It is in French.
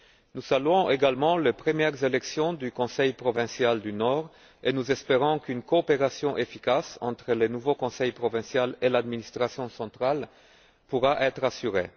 Nous saluons également les premières élections du Conseil provincial du Nord et nous espérons qu'une coopération efficace entre le nouveau Conseil provincial et l'administration centrale pourra être assurée.